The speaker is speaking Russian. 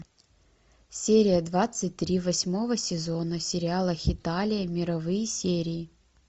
серия двадцать три восьмого сезона сериала хеталия мировые серии